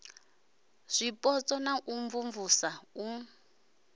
zwipotso na u imvumvusa u